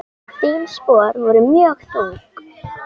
Þín spor voru mjög þung.